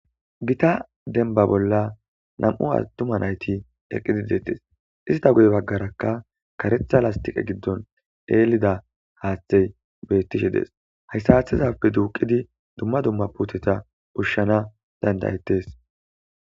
gita denba bolla nam7u attuma nayti eqqididetes ista gode baggarakka karetha lastiqe giddon eelida haaththey bettishe dees hayssa aththizape duuqidi dumma dumma puteta ushshana dandayettes